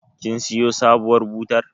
kin siyo sabuwar butar